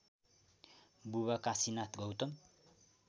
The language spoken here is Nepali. बुबा काशीनाथ गौतम